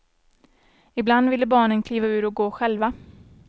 Ibland ville barnen kliva ur och gå själva.